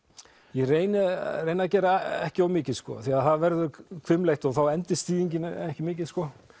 ég reyni reyni að gera ekki of mikið því það verður hvimleitt og þá endist þýðingin ekki mikið